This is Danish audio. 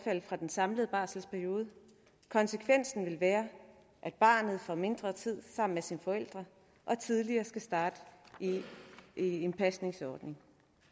fra den samlede barselsperioden konsekvensen vil være at barnet får mindre tid sammen med sine forældre og tidligere skal starte i i en pasningsordning